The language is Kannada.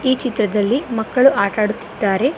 ಈ ಚಿತ್ರದಲ್ಲಿ ಮಕ್ಕಳು ಆಟ ಆಡುತ್ತಿದ್ದಾರೆ.